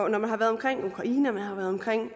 er man har været omkring ukraine og man har været omkring